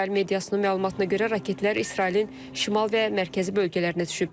İsrail mediasının məlumatına görə raketlər İsrailin şimal və mərkəzi bölgələrinə düşüb.